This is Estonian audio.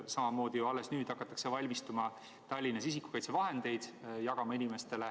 Samamoodi hakatakse alles nüüd Tallinnas valmistuma selleks, et inimestele isikukaitsevahendeid jagada.